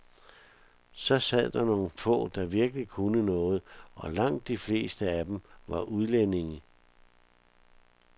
Så sad der nogle få, der virkelig kunne noget, og langt de fleste af dem var udlændinge.